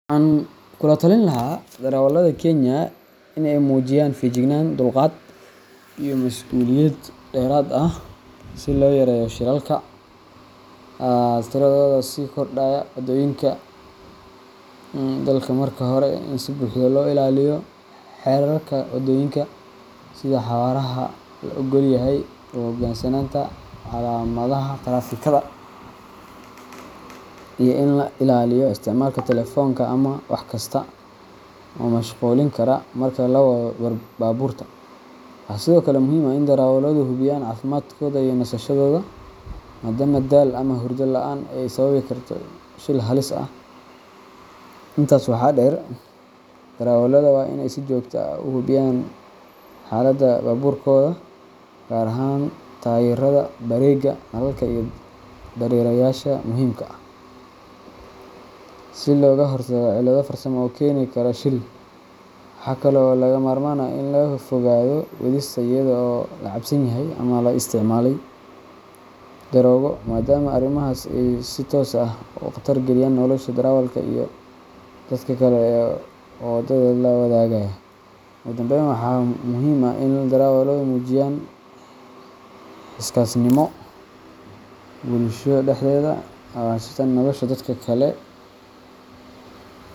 Waxaan kula talin lahaa darawallada Kenya in ay muujiyaan feejignaan, dulqaad, iyo masuuliyad dheeraad ah si loo yareeyo shilalka tiradooda sii kordhaya waddooyinka dalka. Marka hore, waa in si buuxda loo ilaaliyo xeerarka wadooyinka, sida xawaaraha la oggol yahay, u hoggaansanaanta calaamadaha taraafikada, iyo in la iska ilaaliyo isticmaalka taleefoonka ama wax kasta oo mashquulin kara marka la wado baabuurta. Waxaa sidoo kale muhiim ah in darawalladu hubiyaan caafimaadkooda iyo nasashadooda, maadaama daal ama hurdo la’aani ay sababi karto shil halis ah. Intaa waxaa dheer, darawallada waa in ay si joogto ah u hubiyaan xaaladda baabuurkooda – gaar ahaan taayirrada, bareega, nalalka, iyo dareerayaasha muhiimka ah – si looga hortago cilado farsamo oo keeni kara shil. Waxa kale oo lagama maarmaan ah in laga fogaado wadista iyadoo la cabsan yahay ama la isticmaalay daroogo, maadaama arrimahaas ay si toos ah u khatar geliyaan nolosha darawalka iyo dadka kale ee waddada la wadaaga. Ugu dambayn, waxaa muhiim ah in darawalladu ay muujiyaan xilkasnimo bulshada dhexdeeda ah, oo ay xasuustaan in nolosha dadka kale.